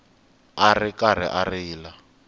a ri karhi a rila